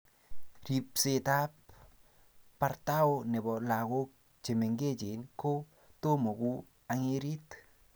ribsetab bortao nebo lagok che mengechen ku tomo ku ang'erit